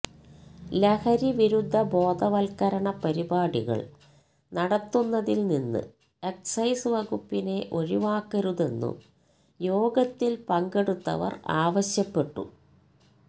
ലഹരി വിരുദ്ധ ബോധവല്ക്കരണ പരിപാടികള് നടത്തുന്നതില് നിന്ന് എക്സൈസ് വകുപ്പിനെ ഒഴിവാക്കരുതെന്നും യോഗത്തില് പങ്കെടുത്തവര് ആവശ്യപ്പെട്ടു